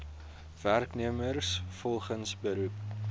werknemers volgens beroep